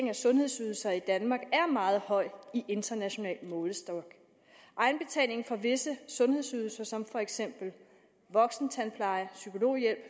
af sundhedsydelser i danmark er meget høj i international målestok egenbetaling for visse sundhedsydelser som for eksempel voksentandpleje psykologhjælp